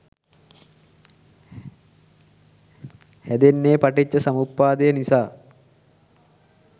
හැදෙන්නෙ පටිච්ච සමුප්පාදය නිසා